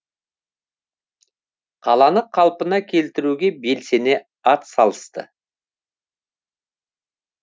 қаланы қалпына келтіруге белсене атсалысты